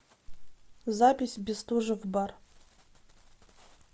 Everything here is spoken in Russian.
запись бестужев бар